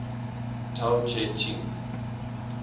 tao te ching